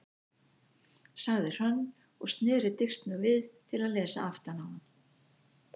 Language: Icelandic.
sagði Hrönn og sneri disknum við til að lesa aftan á hann.